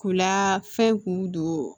K'u la fɛn k'u don